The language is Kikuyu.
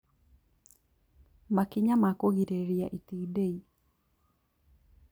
Makinya ma kũgirĩrĩria itindiĩ